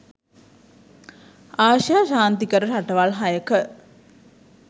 ආසියා ශාන්තිකර රටවල් හයක